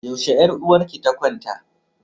Yaushe yar uwarki ta kwanta?